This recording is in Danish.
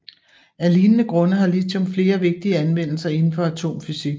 Af lignende grunde har lithium flere vigtige anvendelser indenfor atomfysik